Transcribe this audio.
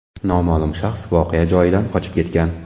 Noma’lum shaxs voqea joyidan qochib ketgan.